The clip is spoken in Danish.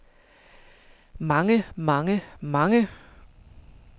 mange mange mange